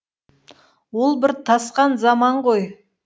ол бір тасқан заман ғой